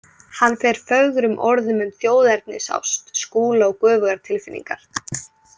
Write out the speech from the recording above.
Hann fer fögrum orðum um þjóðernisást Skúla og göfugar tilfinningar.